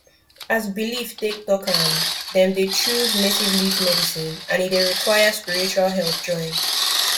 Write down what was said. as belief take talk am dem dey choose native leaf medicine and e dey require spiritual help join